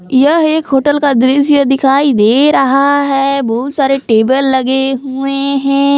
यह एक होटल का दृश्य दिखाई दे रहा है बहुत सारे टेबल लगे हुवे हैं।